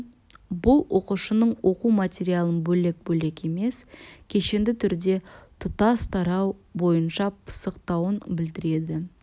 бұл оқушының оқу материалын бөлек-бөлек емес кешенді түрде тұтас тарау бойынша пысықтауын білдіреді